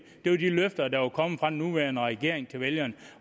det var de løfter der var kommet fra den nuværende regering til vælgerne